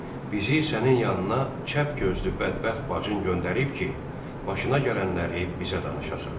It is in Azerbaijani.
Bizi sənin yanına çəpgözlü bədbəxt bacın göndərib ki, başına gələnləri bizə danışasan.